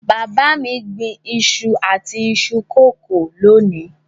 Bàbá mi gbìn iṣu àti iṣu kòkó lónìí.